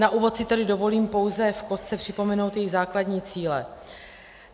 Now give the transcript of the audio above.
Na úvod si tedy dovolím pouze v kostce připomenout její základní cíle.